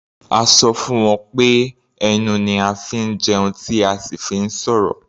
A sọ fún wọn pé ẹnu ni a fi ń jẹun tí a sì fi ń sọ̀rọ̀.